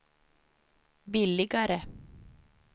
billigare